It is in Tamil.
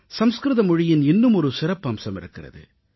சமஸ்கிருத மொழியின் இன்னுமொரு சிறப்பம்சம் இருக்கிறது